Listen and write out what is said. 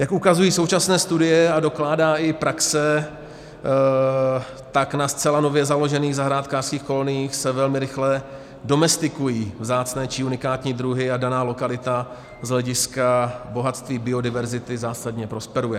Jak ukazují současné studie a dokládá i praxe, tak na zcela nově založených zahrádkářských koloniích se velmi rychle domestikují vzácné či unikání druhy a daná lokalita z hlediska bohatství biodiverzity zásadně prosperuje.